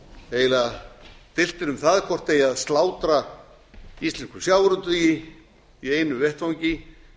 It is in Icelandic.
deilt er um það hvort eigi að slátra íslenskum sjávarútvegi í einu vetfangi